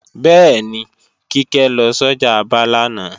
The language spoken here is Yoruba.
Bẹ́ẹ̀ni, Kíkẹ́ lọ sọ́jà Aba lánàá